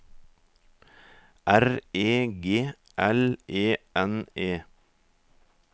R E G L E N E